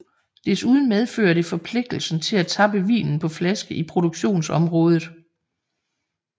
Desuden medfører det forpligtelsen til at tappe vinen på flaske i produktionsområdet